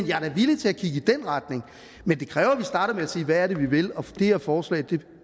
jeg er da villig til at kigge i den retning men det kræver at vi starter med at sige hvad er det vi vil og det her forslag